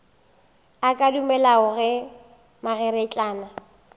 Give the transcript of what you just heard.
a ka dumelago ge mankgeretlana